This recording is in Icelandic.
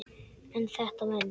En þetta venst.